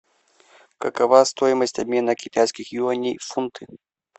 какова стоимость обмена китайских юаней в фунты